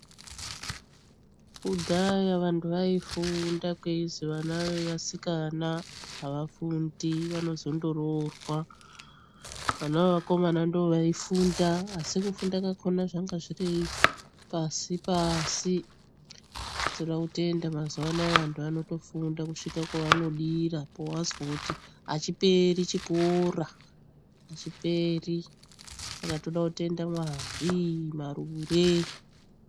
Kudhaya vanthu vaifunda, kweizwi vana vendombi avafundi vanozondoroorwa. Varumbwana ndivo vaifunda asi kufunda kwakhona zvanga zviri pashi-pashi. Tode kubonga mazuwa anaa vanthu vanotofunda kuguma kwevanodira, pewazwa kuti achiperi chikora. Saka toda kubonga Mwari Marure.